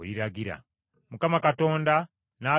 Mukama Katonda n’agamba Musa nti,